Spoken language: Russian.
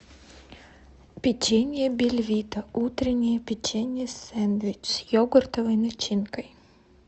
печенье бельвита утреннее печенье сэндвич с йогуртовой начинкой